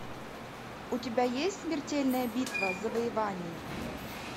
у тебя есть смертельная битва завоевание